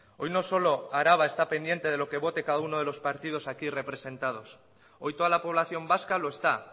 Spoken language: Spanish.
hoy no solo araba está pendiente de lo que vote cada uno de los partidos aquí representados hoy toda la población vasca lo está